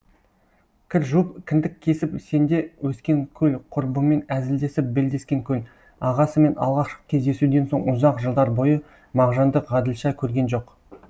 кір жуып кіндік кесіп сенде өскен көл құрбымен әзілдесіп белдескен көл ағасымен алғашқы кездесуден соң ұзақ жылдар бойы мағжанды ғаділша көрген жоқ